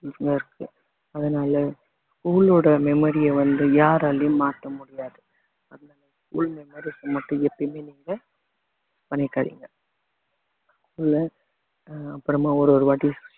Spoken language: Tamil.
இருக்கு அதனால school ஓட memory ய வந்து யாராலயும் மாத்த முடியாது அதனால school memories அ மட்டும் எப்பயுமே நீங்க இல்ல அஹ் அப்புறமா ஒரு ஒரு வாட்டி